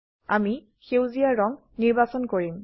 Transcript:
আমি সেউজীয়া ৰং নিৰ্বাচন কৰিম